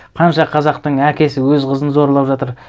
қанша қазақтың әкесі өз қызын зорлап жатыр